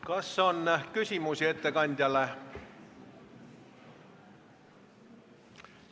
Kas on küsimusi ettekandjale?